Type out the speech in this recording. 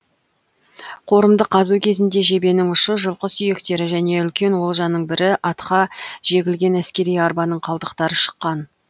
қорымды қазу кезінде жебенің ұшы жылқы сүйектері және үлкен олжаның бірі атқа жегілген әскери арбаның қалдықтары шыққан